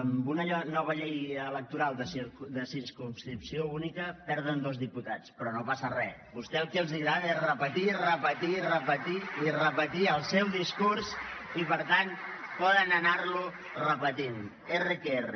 amb una nova llei electoral de circumscripció única perden dos diputats però no passa re a vostès el que els agrada és repetir repetir repetir i repetir el seu discurs i per tant poden anar lo repetint erre que erre